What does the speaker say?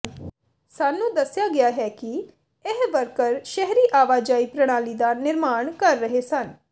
ਸਾਨੂੰ ਦੱਸਿਆ ਗਿਆ ਕਿ ਇਹ ਵਰਕਰ ਸ਼ਹਿਰੀ ਆਵਾਜਾਈ ਪ੍ਰਣਾਲੀ ਦਾ ਨਿਰਮਾਣ ਕਰ ਰਹੇ ਸਨ